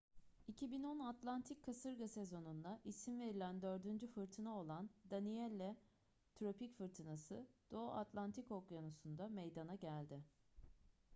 2010 atlantik kasırga sezonunda isim verilen dördüncü fırtına olan danielle tropik fırtınası doğu atlantik okyanusu'nda meydana geldi